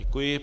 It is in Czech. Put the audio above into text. Děkuji.